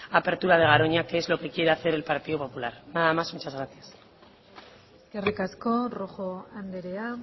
apertura de garoña que es lo que quiere hacer el partido popular nada más y muchas gracias eskerrik asko rojo andrea